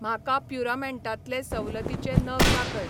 म्हाका प्युरामेटांतले सवलतीचे नग दाखय.